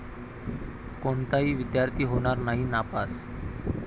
कोणताही विद्यार्थी होणार नाही नापास